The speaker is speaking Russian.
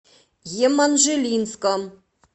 еманжелинском